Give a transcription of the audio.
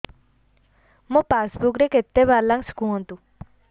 ମୋ ପାସବୁକ୍ ରେ କେତେ ବାଲାନ୍ସ କୁହନ୍ତୁ